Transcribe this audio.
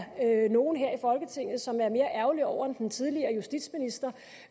nogen her i folketinget som er mere ærgerlig over det end den tidligere justitsminister